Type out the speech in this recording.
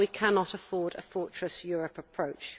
We cannot afford a fortress Europe' approach.